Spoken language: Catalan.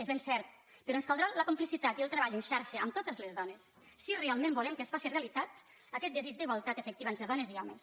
és ben cert però ens caldrà la complicitat i el treball en xarxa amb totes les dones si realment volem que es faci realitat aquest desig d’igualtat efectiva entre dones i homes